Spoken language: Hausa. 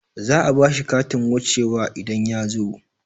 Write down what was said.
Za'a bashi katin wuce wa idan yazo